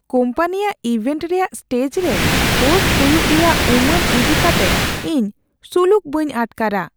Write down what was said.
ᱠᱳᱢᱯᱟᱱᱤᱭᱟᱜ ᱤᱵᱷᱮᱱᱴ ᱨᱮᱭᱟᱜ ᱥᱴᱮᱡ ᱨᱮ ᱦᱳᱥᱴ ᱦᱩᱭᱩᱜ ᱨᱮᱭᱟᱜ ᱩᱢᱟᱹᱱ ᱤᱫᱤ ᱠᱟᱛᱮ ᱤᱧ ᱥᱩᱞᱩᱠ ᱵᱟᱹᱧ ᱟᱴᱠᱟᱨᱟ ᱾